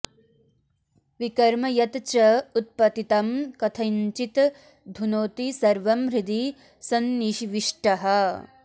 विकर्म यत् च उत्पतितं कथञ्चित् धुनोति सर्वं हृदि संनिविष्टः